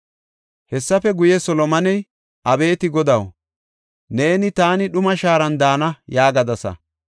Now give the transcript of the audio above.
Hessafe guye, Solomoney, “Abeeti Godaw, neeni, ‘Taani dhuma shaaran daana’ yaagadasa.